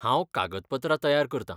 हांव कागदपत्रां तयार करतां.